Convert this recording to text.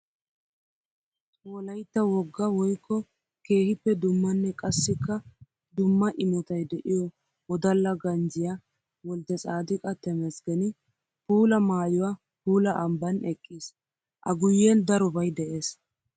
Wolaytta wogga woykko keehippe dummanne qassikka dumma imottay de'iyo wodalla ganjjiya Wolddetsadiqa Temesgeni puula maayuwa puula ambban eqqiis. A guyen darobay de'ees.